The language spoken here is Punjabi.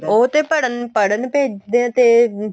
ਉਹ ਤੇ ਪੜਨ ਪੜਨ ਭੇਜਦੇ ਏ ਤੇ